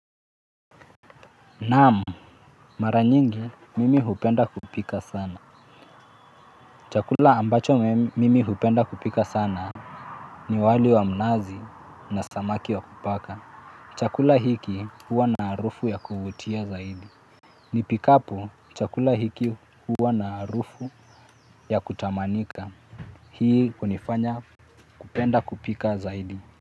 Naam, mara nyingi, mimi hupenda kupika sana. Chakula ambacho mimi hupenda kupika sana ni wali wa mnazi na samaki wa kupaka. Chakula hiki huwa na harufu ya kuvutia zaidi. Nipikapo chakula ikiiva huwa na harufu ya kutamanika hii hunifanya kupenda kupika zaidi.